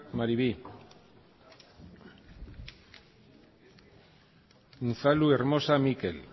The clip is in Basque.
maribi unzalu hermosa mikel